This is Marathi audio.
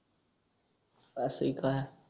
असय का?